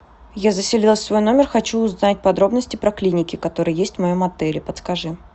я заселилась в свой номер хочу узнать подробности про клиники которые есть в моем отеле подскажи